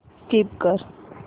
skip कर